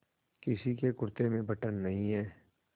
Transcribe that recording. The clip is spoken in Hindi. किसी के कुरते में बटन नहीं है